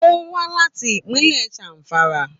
Ó wá láti ìpínlẹ̀ Zamfara